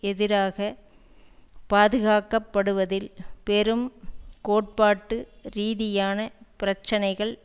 எதிராக பாதுகாக்கப்படுவதில் பெரும் கோட்பாட்டு ரீதியான பிரச்சினைகள்